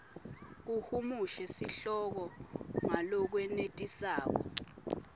uhumushe sihloko ngalokwenetisako